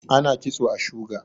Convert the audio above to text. ana kitso a shuga